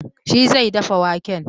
Shi zai dafa waken.